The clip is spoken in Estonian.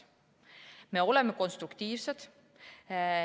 Me oleme konstruktiivsed.